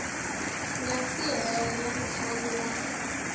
nga si hela ntlhanu wa